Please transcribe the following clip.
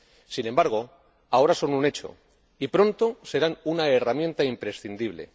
Sin embargo, ahora son un hecho, y pronto serán una herramienta imprescindible.